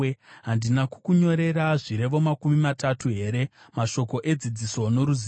Handina kukunyorera zvirevo makumi matatu here, mashoko edzidziso noruzivo,